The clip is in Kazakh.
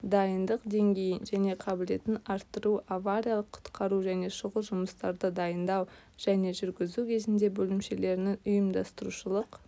дайындық деңгейін және қабілетін арттыру авариялық-құтқару және шұғыл жұмыстарды дайындау және жүргізу кезінде бөлімшелерінің ұйымдастырушылық